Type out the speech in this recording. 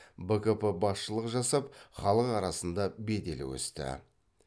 бкп басшылық жасап халық арасында беделі өсті